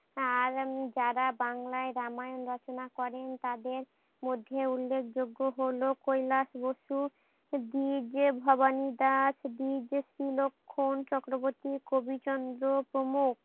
আর যারা বাংলায় রামায়ণ রচনা করেন তাদের মধ্যে উল্ল্যেখ যোগ্য হলো কৈলাস বস্তু দিজে ভবানী দাস বীজ স্রিলক্ষন চক্রবর্তী কোবিচন্দ্র প্রমুখ।